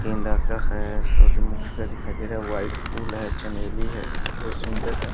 गेंदा का है सुरजमुखी का दिखाई दे रहा है व्हाइट फूल है चमेली है बहुत सुन्दर है ।